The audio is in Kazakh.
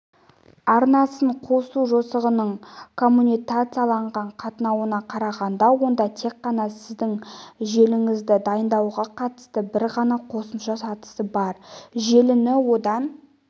арнасын қосу жосығының коммутацияланған қатынауына қарағанда онда тек қана сіздің желіңізді дайындауға қатысты бір ғана қосымша сатысы бар желіні одан